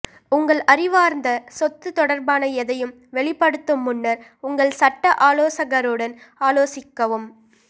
உங்கள் அறிவார்ந்த சொத்து தொடர்பான எதையும் வெளிப்படுத்தும் முன்னர் உங்கள் சட்ட ஆலோசகருடன் ஆலோசிக்கவும்